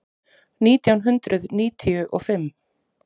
Nítján hundruð níutíu og fimm